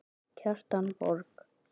Kjartan Borg.